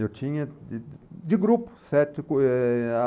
Eu tinha de de de grupo, sete.